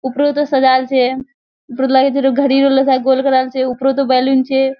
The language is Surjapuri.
उपरोतो सजाल छे उपरोत इधोर घड़ी जैसा गोल बनायल छे उपरोतो बैलून छे।